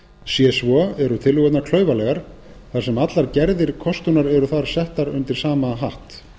sé svo eru tillögurnar klaufalegar þar sem allar gerðir kostunar eru þar settar undir sama hatt